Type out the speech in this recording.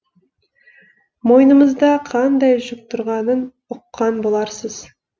мойнымызда қандай жүк тұрғанын ұққан боларсыз